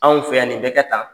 Anw fɛ yan nin bɛ kƐ tan.